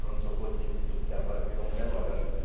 Pronto-socorro desse tubo que agora virou um velório ali, né?